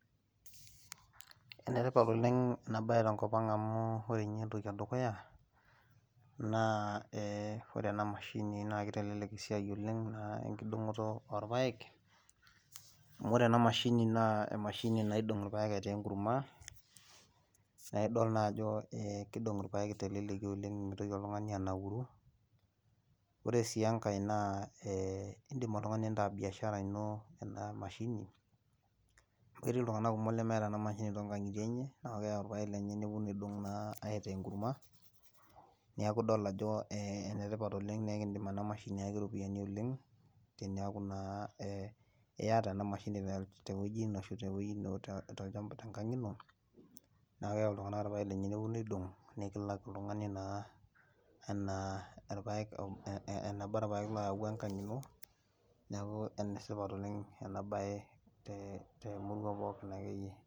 enetipat oleng ena bae tenkop ang'amu ore ninye entoki edukuya, naa ee ore ena mashini naa kitelelk esiai oleng.aa enkidong'oto oorpaek, amu ore ena mashini naa emashini naidong' irpaek aitaa enkurma. naa idol naa ajo kidong irpaek teleleki oleng mitoki oltungani anauru, ore sii enkae idim oltungani nintaa bishara ino ena mashini, etii iltunganak kumok lemeeta ena mshini too nkang'itie enye, naa keyau irpaek lenye nepeuonu aidong' naa aitaa enkurma. niaku idol ajo enetipat oleng ekidim ena mahsini ayaki iropiyiani oleng. teniaku naa iyata ena mashini, te wueji ino ashu tolchampa lino, tenkang ino neku keyau iltunganak ilpaek lenye, nepuonu aidong'.nikalak oltungani naa anaa irpaek, eneba irpaek looyawua enkang ino, neku ene tipat oleng ena bae, temurua pookin akeyie.